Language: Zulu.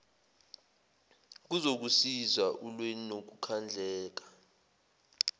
kuzokusiza ulwe nokukhandleka